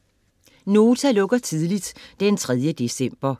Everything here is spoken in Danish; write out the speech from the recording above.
Nota lukker tidligt d. 3. december